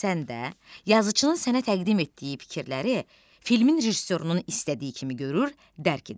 Sən də yazıçının sənə təqdim etdiyi fikirləri filmin rejissorunun istədiyi kimi görür, dərk edirsən.